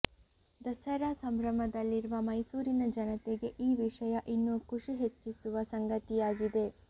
ದಸರಾ ಸಂಭ್ರಮದಲ್ಲಿರುವ ಮೈಸೂರಿನ ಜನತೆಗೆ ಈ ವಿಷಯ ಇನ್ನೂ ಖುಷಿ ಹೆಚ್ಚಿಸುವ ಸಂಗತಿಯಾಗಿದೆ